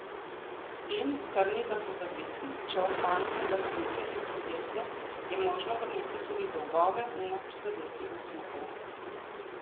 In, kar ni za pozabiti, če ohranite lastnike in podjetje, je možno vrniti tudi dolgove in ne prizadeti upnikov.